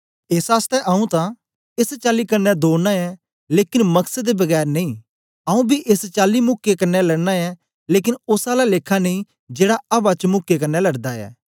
एस आसतै आऊँ तां एस चाली कन्ने दौड़ना ऐं लेकन मकसद दे बगैर नेई आऊँ बी एस चाली मुक्कें कन्ने लड़ना ऐं लेकन ओस आला लेखा नेई जेड़ा अवा च मुक्कें कन्ने लड़दा ऐ